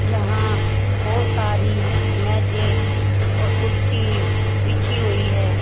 यहां बहोत सारी मेजे और कुर्सी बिछी हुई है।